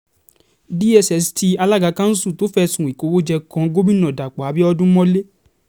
dss tí alága kanṣu tó fẹ̀sùn ìkówóje kan gomina dapò abiodun mọ́lẹ̀